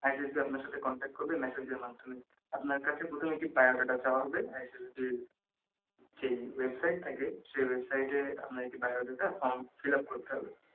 message দিয়ে আপনার সাথে contact করবে মেসেজের মাধ্যমে আপনার কাছে প্রথমে biodata চাওয়া হবে ISSB যে ওয়েবসাইট থাকে সেই ওয়েবসাইটে আপনার একটি form fill up করতে হবে